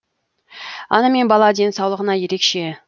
ана мен бала денсаулығына ерекше